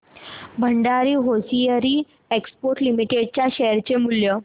Bhandari hosiery exports limited च्या share चे मूल्य